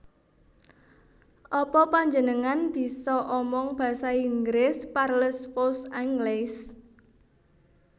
Apa panjenengan bisa omong basa Inggris Parlez vous anglais